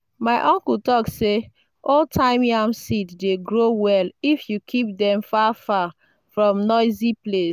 my uncle talk say old-time yam seeds dey grow well if you keep them far far from noisy place.